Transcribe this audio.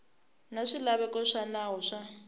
na swilaveko swa nawu wa